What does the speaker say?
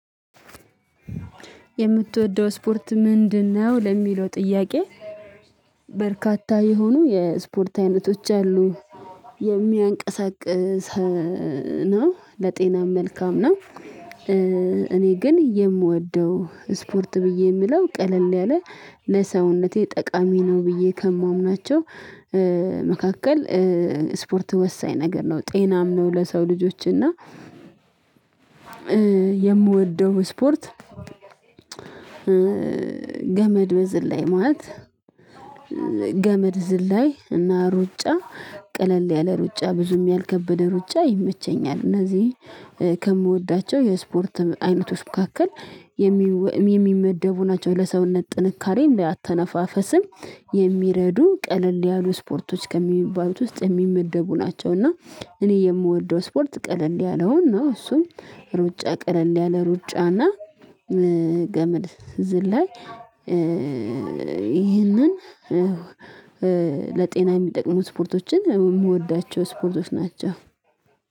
የምትወደው ስፖርት ምንድነው ለሚለው ጥያቄ? በርካታ የሆኑ የስፖርት አይነቶች አሉ የሚያንቀሳቅስ ነው ለጤናም መልካም ነው። እኔ ግን የምወደው ስፖርት ብዬ የምለው ቀለል ያለ ለሰውነቴ ጠቃሚ ነው ብዬ ከማምናቸው መካከል ስፖርት ወሳኝ ነገር ነው ጤናም ነው ለሰው ልጆች እና የምወደው ስፖርት። ገመድ በዝላይ ማለት ገመድ ዝላይ እና ሩጫ ቀለል ያለ ሩጫ ብዙም ያልከበደ ሩጫ ይመቸኛል። እነዚህ ከምወዳቸው የስፖርት አይነቶች መካከል የሚወ የሚመደቡ ናቸው ለሰውነት ጥንካሬ ለአተነፋፈስም የሚረዱ ቀለል ያሉ ስፖርቶች ከሚባሉት ውስጥ የሚመደቡ ናቸው። እና እኔ የምወደው ስፖርት ቀለል ያለውን ነው እሱም ሩጫ ቀለል ያለ ሩጫና ገመድ ዝላይ ይህንን ለጤና የሚጠቅሙ ስፖርቶችን የምወዳቸው ስፖርቶች ናቸው።